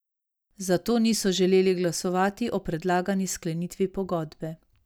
Zato niso želeli glasovati o predlagani sklenitvi pogodbe.